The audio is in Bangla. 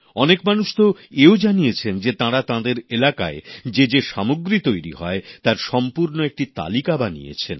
অনেক মানুষ তো এও জানিয়েছেন যে তাঁরা তাঁদের এলাকায় যে যে সামগ্রী তৈরি হয় তার সম্পূর্ণ একটি তালিকা বানিয়েছেন